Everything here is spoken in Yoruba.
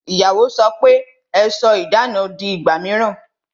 Ìyàwó sọ pe "Ẹ sọ idana di ìgbà mìíràn